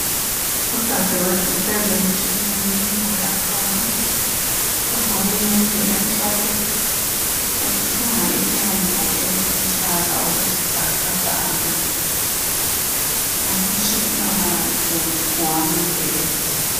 Udadewethu uhlezi emtshineni uyathunga. Ugqoke iyembe emhlophe. Uthunga ilembu eliluhlaza okwesibhakabhaka. Umtshina wakhe ngowama getsi.